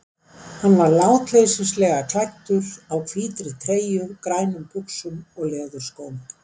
Hann var látleysislega klæddur, á hvítri treyju, grænum buxum og leðurskóm.